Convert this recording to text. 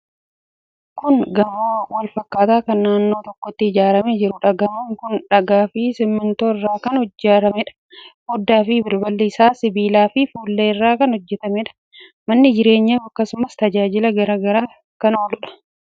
Kun gamoo wal fakkaataa kan naannoo tokkotti ijaaramee jiruudha. Gamoon kun dhagaa fi simmintoo irraa kan ijaarameedha. Foddaa fi balballi isaa sibiilaa fi fuullee irraa kan hojjetameedha. Mana jireenyaaf, akkasumas tajaajila garaa garaatiif kan ooluudha.